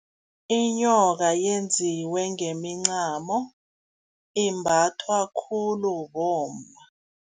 Inyoka yenziwe ngemincamo, imbathwa khulu bomma.